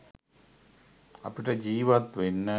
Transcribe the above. අපිට ජීවත් වෙන්න